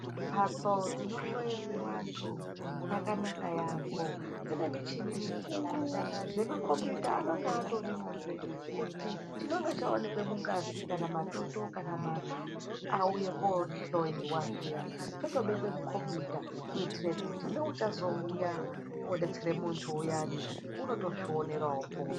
Mbatso dzinohloyerwe vantu dzakanaka yambo , dzine muchini mikuru nemakomboyuta anonga atorimwozve kuti chinonga chawanikwa mungazi , mumatoto kana mumata auye kohloiwa zviya dzotobekwe mukombiyuta kuitire kuti neuchazouya kodetsereka muntu uyani unotozvionerawopo.